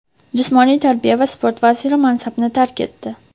Jismoniy tarbiya va sport vaziri mansabini tark etdi.